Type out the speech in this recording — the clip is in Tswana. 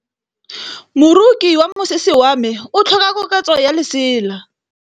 Moroki wa mosese wa me o tlhoka koketsô ya lesela.